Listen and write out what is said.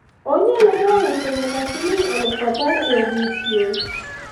onyalo ga uso nyaka siling' aluf apar e odiechieng'